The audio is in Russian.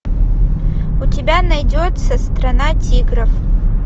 у тебя найдется страна тигров